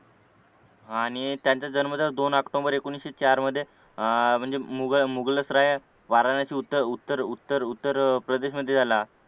आणि त्यांचा जन्म तर दोन ऑक्टोबर एकोणीशे चार मध्ये अह म्हणजे मुगलसराई वाराणसी उत्तर उत्तर उत्तर उत्तर प्रदेश मध्ये झाला